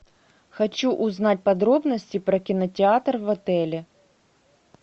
хочу узнать подробности про кинотеатр в отеле